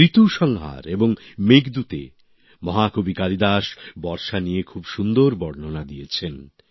ঋতুসংহার এবং মেঘদূতে মহাকবি কালিদাস বর্ষা নিয়ে খুব সুন্দর বর্ণনা দিয়েছেন